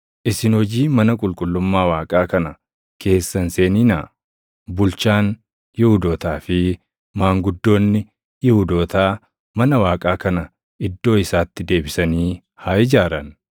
Isin hojii mana qulqullummaa Waaqaa kana keessa hin seeninaa. Bulchaan Yihuudootaa fi maanguddoonni Yihuudootaa mana Waaqaa kana iddoo isaatti deebisanii haa ijaaran.